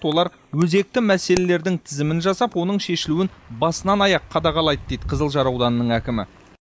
олар өзекті мәселелердің тізімін жасап оның шешілуін басынан аяқ қадағалайды дейді қызылжар ауданының әкімі